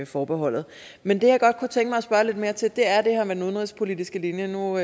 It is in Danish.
forbeholdet men det jeg godt kunne tænke mig at spørge lidt mere til er det her med den udenrigspolitiske linje nu